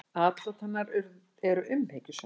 Atlot hennar eru umhyggjusöm.